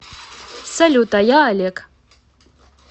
салют а я олег